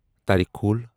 تیریکھول